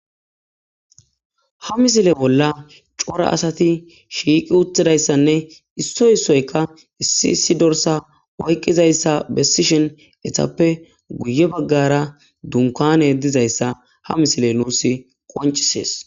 Ha misile bolla cora asati shiiqi uttidayssanne issoy issoyka issi issi dorsa oyqqizayssa bessishen etappe guye baggara dunkane ddizayssa ha misile nuus qoncisees